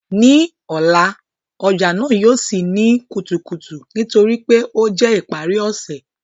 Ni ọla, ọja naa yóò ṣii ni kutukutu nitori pe o jẹ ipari ọsẹ